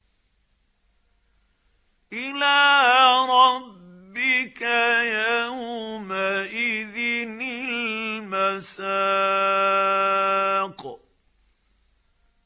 إِلَىٰ رَبِّكَ يَوْمَئِذٍ الْمَسَاقُ